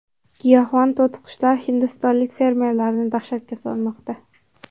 Giyohvand to‘tiqushlar hindistonlik fermerlarni dahshatga solmoqda.